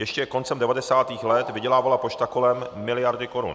Ještě koncem 90. let vydělávala pošta kolem miliardy korun.